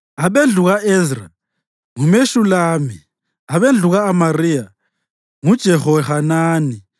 abendlu ka-Ezra, nguMeshulami; abendlu ka-Amariya, nguJehohanani;